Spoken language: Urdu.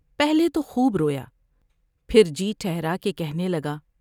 پہلے تو خوب رویا پھر جی ٹھہرا کے کہنے لگا ۔